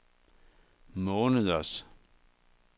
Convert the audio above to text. måneders